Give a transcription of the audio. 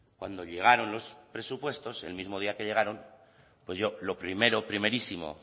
cuando llegaron los presupuestos el mismo día que llegaron pues yo lo primero primerísimo